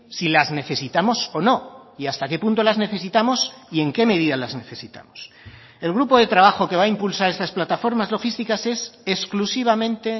si las necesitamos o no y hasta qué punto las necesitamos y en qué medida las necesitamos el grupo de trabajo que va a impulsar estas plataformas logísticas es exclusivamente